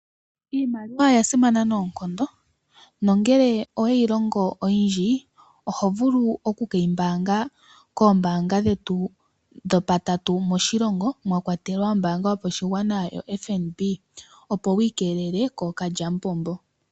Iimaliwa oya simana noonkondo, nongele oweyi longo oyindji, oho vulu oku keyi pungula koombanga dhetu dho patatu moshilongo mwa akwatelwa ombaanga yopashigwana FNB, opo wi ikeelele kookalyamupombo.